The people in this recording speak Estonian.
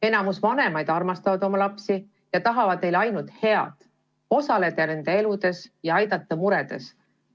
Enamik vanemaid armastab oma lapsi ja tahab neile ainult head, osaleda nende elus ja aidata muredes.